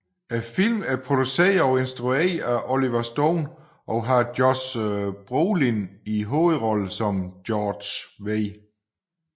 Filmen er produceret og instrueret af Oliver Stone og har Josh Brolin i hovedrollen som George W